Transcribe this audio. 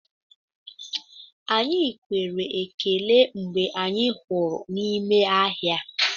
Anyị kwere ekele mgbe anyị hụrụ n'ime ahịa.